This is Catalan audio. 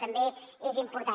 també és important